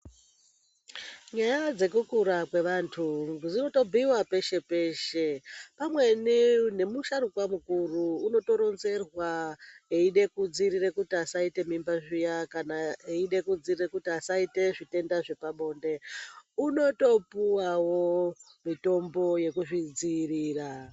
Nyaya dzekukura kwevantu dzinotobhuiwa peshe peshe . Pamweni nemusharukwa mukuru unotoronzerwa aida kutodziirira kuti asaita mimba zviya kana aida kutodziirira kuti asaita zvitenda zvepabonde unotopuwawo mitombo yekuzvidziirira .